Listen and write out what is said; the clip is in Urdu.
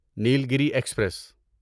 نیلگری ایکسپریس